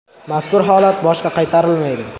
Mazkur holat boshqa qaytarilmaydi.